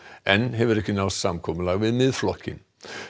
enn hefur ekki náðst samkomulag við Miðflokkinn